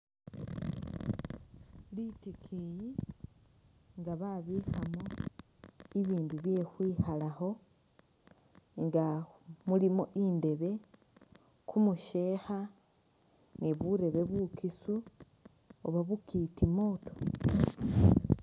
Litikiyi nga babikhamo ibindu bye khwikhalakho nga mulimo indebe , kumusheekha ni burebe bukisu Oba bukitimooto